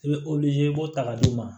I bɛ i b'o ta ka d'i ma